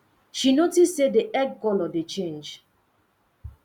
she noticed say the egg color dey change